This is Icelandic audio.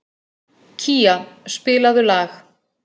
Kía, spilaðu lag.